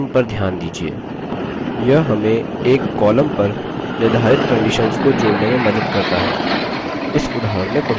यह हमें एक column पर निर्धारित conditions को जोड़ने में मदद करता है इस उदाहरण में publisher है